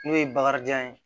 N'o ye bakarijan ye